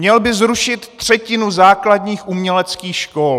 Měl by zrušit třetinu základních uměleckých škol!